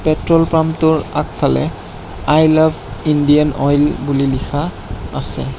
Petrol পাম্পটোৰ আগফালে I love Indian Oil বুলি লিখা আছে।